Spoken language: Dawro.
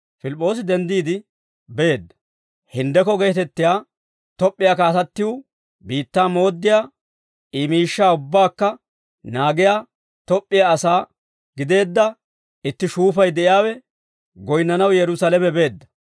Pilip'p'oosi denddiide beedda. Hinddekko geetettiyaa Top'p'iyaa kaatattiw biittaa mooddiyaa I miishshaa ubbaakka naagiyaa Top'p'iyaa asaa gideedda itti shuufay de'iyaawe goyinnanaw Yerusaalame beedda.